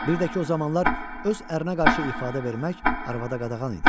Bir də ki, o zamanlar öz ərinə qarşı ifadə vermək arvada qadağan idi.